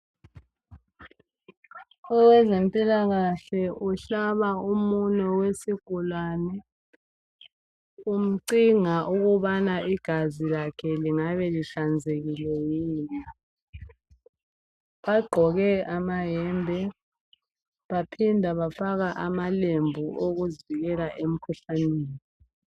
Owezempilakahle uhlaba umunwe wesigulane. Umcinga ukubana igazi lakhe, lingabe lihlanzekile yini? Bagqoke amayembe. Baphinda bafaka amalembu okuzivikela, emkhuhlaneni.